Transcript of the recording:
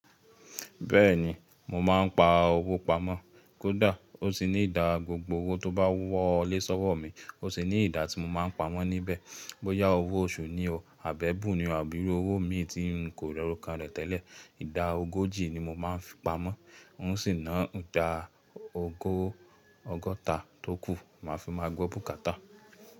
Bẹ́ẹ̀ni, mo máa ń pa owó pamọ́. Kódà ó sì ní ìdá gbogbo owó tó bá wọlé sọ́wọ́ mi, ó sì ní ìdá tí mo máa ń pamọ́ níbẹ̀. Bóyá owó oṣù ni o, àbẹ́ bùn ni o, àbí owó mi tí n kò rọ̀rọ́ kan rẹ̀ tẹ́lẹ̀, ìdá ogójì ni mo máa ń fi pamọ́. Ó sì ná ìdá ogó ọgọ́ta tó kù, mo máa fi máa gbó bùkátà.